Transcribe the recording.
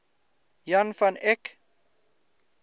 jan van eyck